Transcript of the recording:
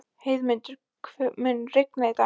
Heiðmundur, mun rigna í dag?